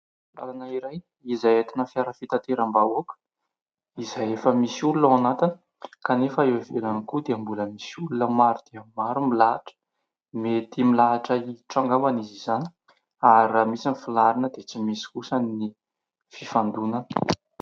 Lalana iray izay atina fiara fitateram-bahoaka izay efa misy olona ao anatiny kanefa eo ivelany koa dia mbola misy olona maro dia maro milahatra. Mety milahatra hiditra ao angambany izy izany ary raha misy ny filaharana dia tsy misy kosany ny fifandonana.